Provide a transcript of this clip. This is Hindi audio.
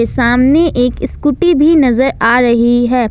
सामने एक स्कूटी भी नजर आ रही है।